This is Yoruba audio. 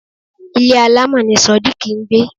Ilé alamọ ni sodiq ń gbé